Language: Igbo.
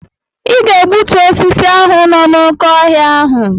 Ịga egbutu osisi ahụ no na oké ọhịa ahụ!